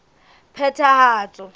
phethahatso